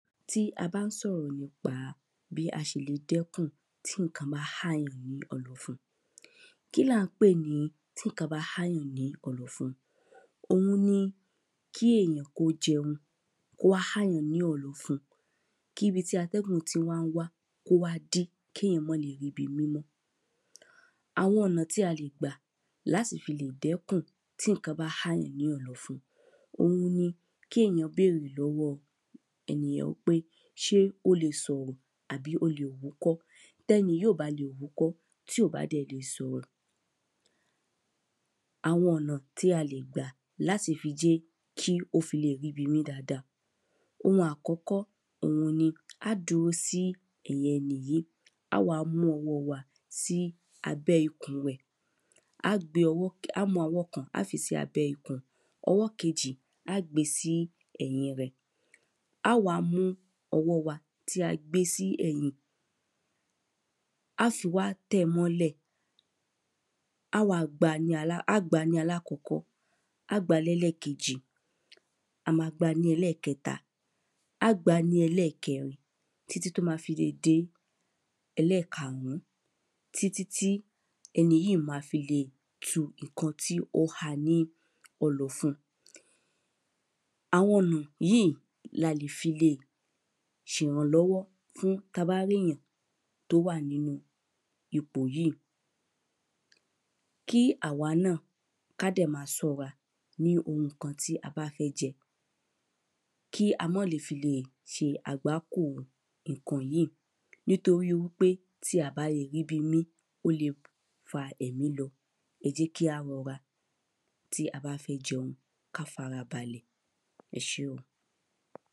tí a bá ń sọ̀rọ̀ nípa bí a ṣe le dẹ́kùn tí ǹkan ma há yàn ni ọ̀nàfun kí là ń pè ní tí ǹkan ma há yàn ni ọ̀nàfun òun ni kí èyàn kó jẹun kó há yàn ni ọ̀nàfun kíbi tí àtẹ́gùn ti wá ń wá kó wá dí kéyàn mọ́ lè ríbi mí mọ àwọn ọ̀nà tí a lè gbà láti lè dẹ́kùn tí iǹkan bá há yàn ní ọ̀nàfun òun ni kéyàn bérè lọ́wọ́ ènìyàn wí pé ṣé ó le sọ̀rọ̀ àbí o lè wúkọ́ tẹ́ni yìí ò bá le wúkọ́ tí ò bá dẹ̀ lè sọ̀rọ̀ àwọn ọ̀nà tí a lè gbà láti fi jẹ́ kí ó fi lè ríbi mí dada ohun àkọ́kọ́ òun ni á dúró sí ẹ̀yìn ẹni yíì á wá mú ọwọ́ wa sí abẹ́ ikùn rẹ̀ á gbé ọwọ́ á mú ọwọ́ kan á fi sí abẹ́ ikùn ọwọ́ kejì á gbé sí ẹ̀yìn rẹ̀ á wá mú ọwọ́ wa tí a gbé sí ẹ̀yìn á si wá tẹ̀ mọ́ lẹ̀ á wa á gba ní alákọ́kọ́ á gba lẹ́lẹ́kèjì a ma gba ní ẹlẹ́kẹta á gba ní ẹlẹ́kẹrin títí tó ma fi lè dé ẹlẹ́karùn-ún títítí ẹni yíì ma fi le tu ìkan tíó ha ní ọ̀nàfun àwọn ọ̀nà yìí lá le fi le ṣe rànlọ́wọ́ fún ta bá ríyàn tó wà nínu ipò yíì kí à wa náà ká dẹ̀ ma sọ́ra ní ohun ǹkan tí a bá fẹ́ jẹ kí a mọ́ le fi lè ṣe àgbàkò ìkò yíì nítorí wí pé tí a ba lè ríbi mí ó le fa ẹ̀mí lọ ẹ jẹ́ kí a rọra tí a bá fẹ́ jẹun ká fara balẹ̀ ẹ ṣé o